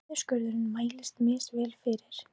Niðurskurðurinn mælist misvel fyrir